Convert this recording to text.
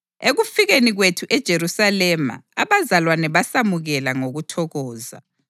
Ekufikeni kwethu eJerusalema abazalwane basamukela ngokuthokoza.